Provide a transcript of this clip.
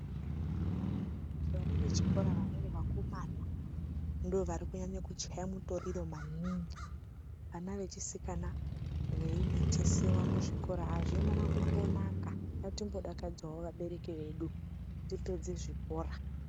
Vana vechikora vamweni vakomana ndoovarikunyanye kuchaya mitoriro maningi. Ana vechisikana veimitisiwa kuzvikora, hazvina kumbonaka. Ngatimbodakadzawo vabereki vedu, tipedze zvikora.